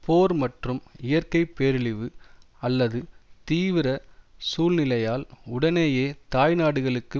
போர் மற்றும் இயற்கை பேரழிவு அல்லது தீவிர சூழ்நிலையால் உடனேயே தாய் நாடுகளுக்கு